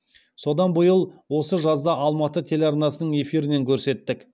содан биыл осы жазда алматы телеарнасының эфирінен көрсеттік